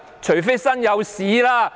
除非'身有屎'。